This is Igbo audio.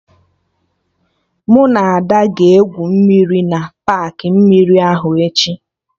Mụ na Ada ga-egwu mmiri na paakị mmiri ahụ echi